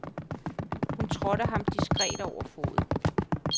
Hun trådte ham diskret over foden.